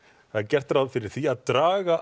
það er gert ráð fyrir því að draga